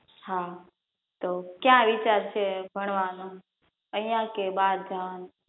હા તો ક્યાં વિચાર છે ભણવાનો અહીંયા કે બારગામ